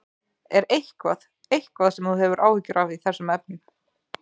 Er eitthvað, eitthvað sem þú hefur áhyggjur af í þessum efnum?